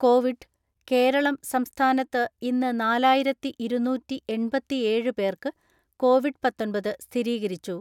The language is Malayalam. കോവിഡ്, കേരളം സംസ്ഥാനത്ത് ഇന്ന് നാലായിരത്തി ഇരുന്നൂറ്റിഎൺപത്തിഏഴ് പേർക്ക് കോവിഡ് പാത്തൊൻപത് സ്ഥിരീകരിച്ചു.